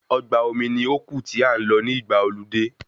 Ọgbà omi ní ó kù tí a n lọ ní ìgbà ọludé